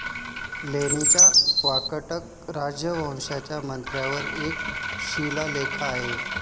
लेणीच्या वाकाटक राजवंशाच्या मंत्र्यावर एक शिलालेख आहे.